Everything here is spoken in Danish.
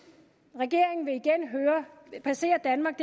regeringen vil igen placere danmark